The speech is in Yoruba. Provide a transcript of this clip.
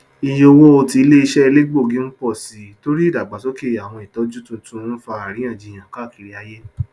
ìyé owó tí iléiṣẹ elegbogi ń pọ sí torí ìdàgbàsókè àwọn ìtọjú tuntun ń fà aríyànjiyàn káàkiri ayé